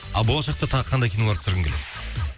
а болашақта тағы қандай кинолар түсіргің келеді